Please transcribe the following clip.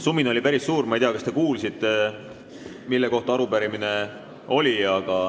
Sumin oli päris suur, ma ei tea, kas te kuulsite, mille kohta arupärimine oli.